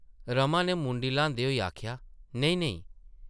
रमा नै मुंडी ल्हांदे होई आखेआ, नेईं-नेईं ।